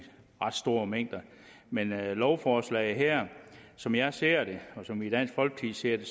ret store mængder lovforslaget her er som jeg ser det og som vi i dansk folkeparti ser det